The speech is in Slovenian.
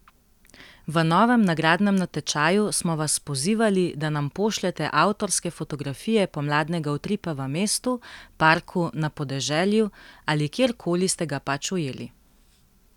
V novem nagradnem natečaju smo vas pozivali, da nam pošljete avtorske fotografije pomladnega utripa v mestu, parku, na podeželju ali kjer koli ste ga pač ujeli.